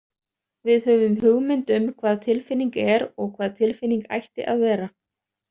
Við höfum hugmynd um hvað tilfinning er og hvað tilfinning ætti að vera.